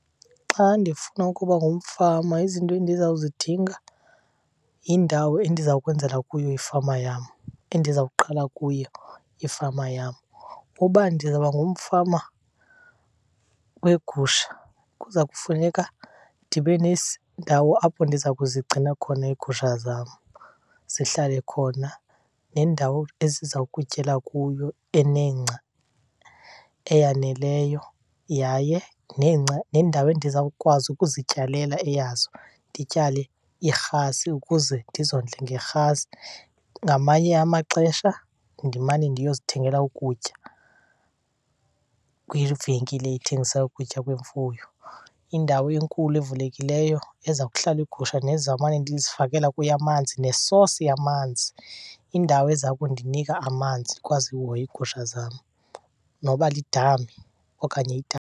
Xa ndifuna ukuba ngumfama izinto endizawuzidinga yindawo endiza kwenzela kuyo ifama yam, endizawuqala kuyo ifama yam. Uba ndizawuba ngumfama weegusha kuza kufuneka ndibe apho ndiza kuzigcina khona iigusha zam zihlale khona, nendawo eziza kutyela kuyo enengca eyaneleyo yaye nengca, nendawo endizawukwazi ukuzityalela eyazo. Ndityale irhasi ukuze ndizondle ngerhasi, ngamanye amaxesha ndimane ndiyozithengela ukutya kwivenkile ethengisa ukutya kwemfuyo. Indawo enkulu evulekileyo eza kuhlala iigusha nezawumane ndizifakela kuyo amanzi. Ne-source yamanzi, indawo eza kundinika amanzi ndikwazi uhoya iigusha zam, noba lidam okanye .